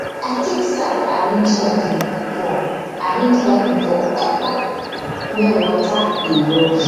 i take sack arrange garden for arrange garden for upup where water dey rush